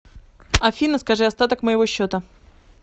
афина скажи остаток моего счета